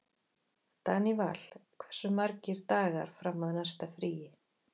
Daníval, hversu margir dagar fram að næsta fríi?